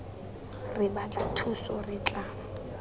re batla thuso re tla